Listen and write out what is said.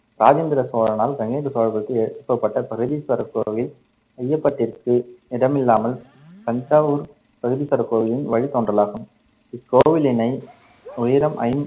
ராஜேந்திரசசோனால் கங்கைகொண்ட சோழபுரத்தில் எழுப்பப்பட்ட பிரகதீஸ்வரர் கோவில் ஐயப்பட்டிற்கு இடமில்லாமல் தஞ்சாவூர் பிரகதீஸ்வரர் கோவிலின் வழித் தோன்றலாகும். இக்கோவிலினை உயரம் ஐ~